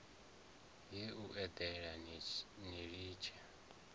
ye u eḓela ni litshe